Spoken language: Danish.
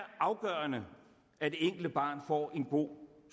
afgørende at det enkelte barn får en god